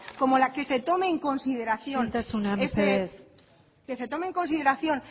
como la que se tome en consideración isiltasuna mesedez que se tome en consideración